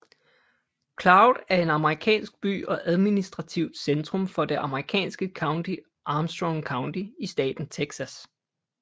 Claude er en amerikansk by og administrativt centrum for det amerikanske county Armstrong County i staten Texas